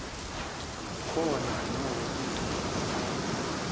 zikhona nokho izimo